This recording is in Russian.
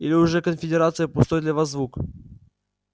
или уже конфедерация пустой для вас звук